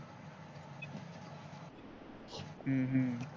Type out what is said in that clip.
हम्म हम्म